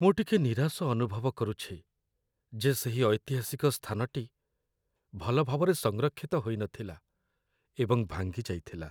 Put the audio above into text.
ମୁଁ ଟିକେ ନିରାଶ ଅନୁଭବ କରୁଛି ଯେ ସେହି ଐତିହାସିକ ସ୍ଥାନଟି ଭଲ ଭାବରେ ସଂରକ୍ଷିତ ହୋଇ ନଥିଲା ଏବଂ ଭାଙ୍ଗିଯାଇଥିଲା